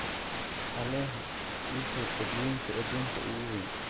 alexa ii sheeg badweynta aduunka ugu weyn